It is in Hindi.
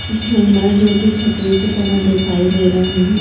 झूमर जो कि छतरी की तरह दिखाई दे रहे हैं।